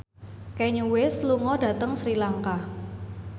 Kanye West lunga dhateng Sri Lanka